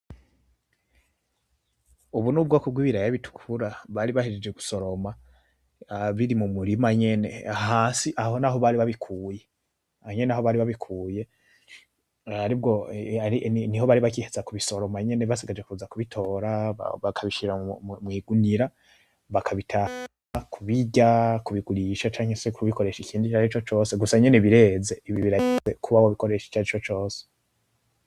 Ubu nubwoko wibiraya bitukura, bari bahejeje gusoroma biri mumurima nyene, hasi aho naho bari babikuye, aho nyene niho bari babikuye, niho bari bagiheza kubisoroma nyene basigaje kuza kubitora, bakabishira mwigunira, bakabitanga kubirya bakabigurisha canke se kubikoresha icarico cose, gusa nyene bireze ibi biraya kuba wabikoresha icarico cose.